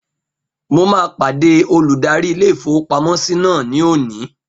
Mo máa pàdé olùdarí ilé-ìfowópamọ́sí náà ní òní